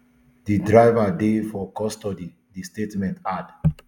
di driver dey for custody di statement add